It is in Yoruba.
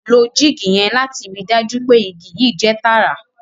ló jig yen lati ríi dájú pé ìgi yii jẹ tààrà